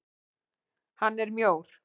Hann er mjór.